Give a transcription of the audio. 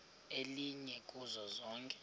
elinye kuzo zonke